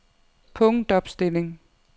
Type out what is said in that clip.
punktopstilling